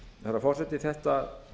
herra forseti það